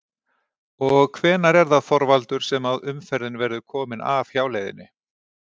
Og hvenær er það Þorvaldur sem að umferðin verður komin af hjáleiðinni?